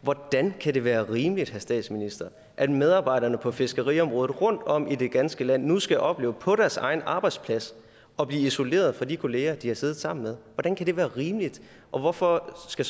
hvordan kan det være rimeligt herre statsminister at medarbejderne på fiskeriområdet rundtom i det ganske land nu skal opleve på deres egen arbejdsplads at blive isoleret fra de kolleger de har siddet sammen med hvordan kan det være rimeligt og hvorfor skal